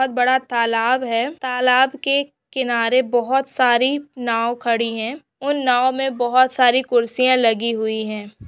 बहुत बडा तालाब है तालाब के किनारे बहुत सारी नाव खड़ी है ऊन नाव में बहुत सारी कुर्सियां लगी हुई है।